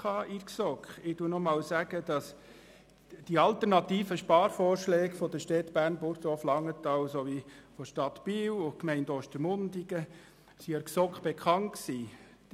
Ich wiederhole, dass die alternativen Sparvorschläge der Städte Bern, Burgdorf, Langenthal und Biel und der Gemeinde Ostermundigen der GSoK bekannt waren.